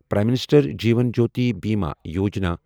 prime minister Jeevan Jyoti Bima Yojana